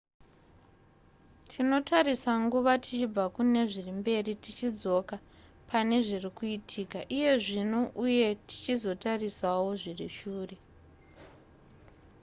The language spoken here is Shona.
tinotarisa nguva tichibva kune zviri mberi tichidzoka pane zviri kuitika iye zvino uye tichizotarisawo zviri shure